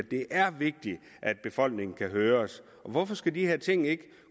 det er vigtigt at befolkningen kan høres hvorfor skal de her ting ikke